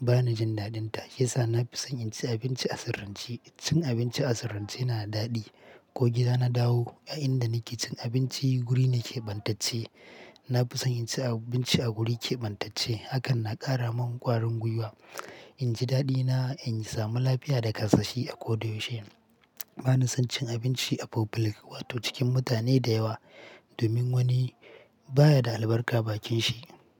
bana jin daɗinta yasa nafi son inci abinci a sirrance. Cin abinci a sirrance yana daɗi ko gida na dawo a inda nake cin abinci guri nakeɓantacce. Nafi son inci abinci a guri keɓantacce hakan na ƙara mun ƙwarin gwiwa, inji daɗina inji samu lafiya da kasashi akoda yaushe. Bana son cin abinci a public wato cikin mutane da yawa domin wani baya da albarka bakin shi.